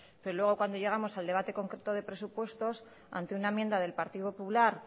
pero luego cuando llegamos al debate concreto de presupuestos ante una enmienda del partido popular